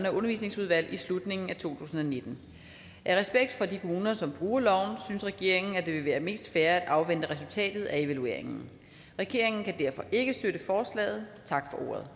undervisningsudvalg i slutningen af to tusind og nitten af respekt for de kommuner som bruger loven synes regeringen at det vil være mest fair at afvente resultatet af evalueringen regeringen kan derfor ikke støtte forslaget tak